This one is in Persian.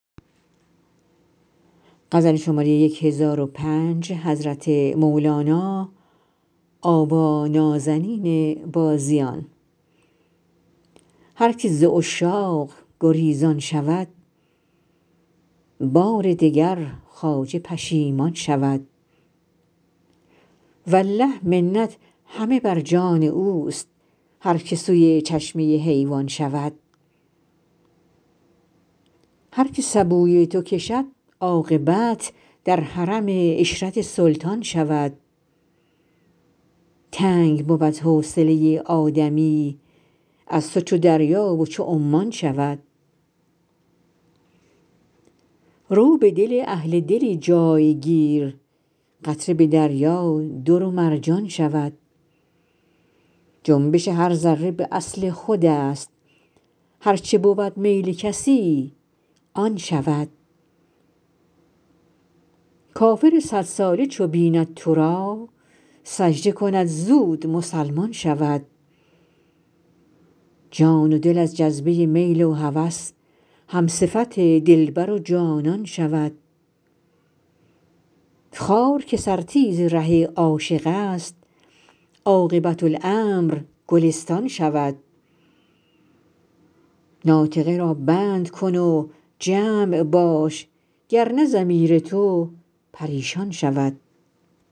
هر که ز عشاق گریزان شود بار دگر خواجه پشیمان شود والله منت همه بر جان اوست هر که سوی چشمه حیوان شود هر که سبوی تو کشد عاقبت در حرم عشرت سلطان شود تنگ بود حوصله آدمی از تو چو دریای و چو عمان شود رو به دل اهل دلی جای گیر قطره به دریا در و مرجان شود جنبش هر ذره به اصل خودست هر چه بود میل کسی آن شود کافر صدساله چو بیند تو را سجده کند زود مسلمان شود جان و دل از جذبه میل و هوس همصفت دلبر و جانان شود خار که سرتیز ره عاشق است عاقبت امر گلستان شود ناطقه را بند کن و جمع باش گر نه ضمیر تو پریشان شود